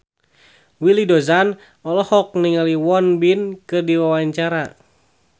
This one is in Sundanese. Willy Dozan olohok ningali Won Bin keur diwawancara